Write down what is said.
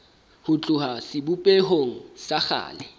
ho tloha sebopehong sa kgale